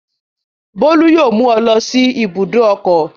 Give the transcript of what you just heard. Bólú yóò mú ọ lọ sí ibùdó ọkọ̀.